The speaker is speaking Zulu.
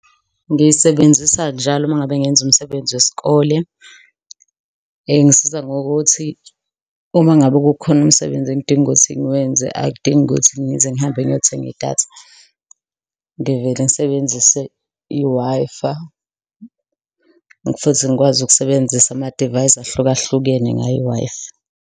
Ngiyisebenzisa njalo uma ngabe ngenza umsebenzi wesikole. Ingisiza ngokuthi uma ngabe kukhona umsebenzi engidinga ukuthi ngiwenze akudingi ukuthi ngize ngihambe ngiyothenga idatha, ngivele ngisebenzise i-Wi-Fi futhi ngikwazi ukusebenzisa amadivayisi ahlukahlukene ngayo i-Wi-Fi.